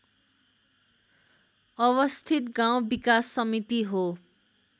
अवस्थित गाउँ विकास समिति हो